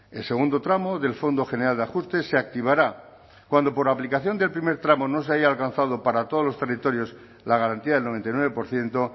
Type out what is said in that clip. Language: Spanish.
el segundo tramo del fondo general de ajuste se activará cuando por aplicación del primer tramo no se haya alcanzado para todos los territorios la garantía del noventa y nueve por ciento